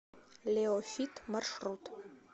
лео фит маршрут